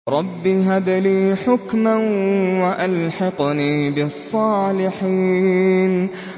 رَبِّ هَبْ لِي حُكْمًا وَأَلْحِقْنِي بِالصَّالِحِينَ